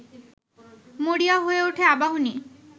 মরিয়া হয়ে ওঠে আবাহনী